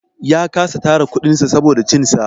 Ya kasa tara kuɗin sa saboda cin sa.